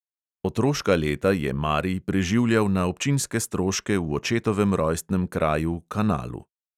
Otroška leta je marij preživljal na občinske stroške v očetovem rojstnem kraju kanalu.